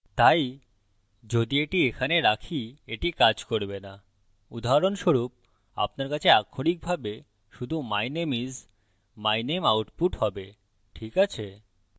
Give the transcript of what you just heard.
my যদি এটা এখানে রাখি এটি কাজ করবে so উদাহরণস্বরূপ আপনার কাছে আক্ষরিকভাবে শুধু my name is my name output have ঠিক আছে